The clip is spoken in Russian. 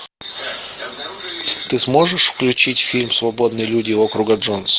ты сможешь включить фильм свободные люди округа джонс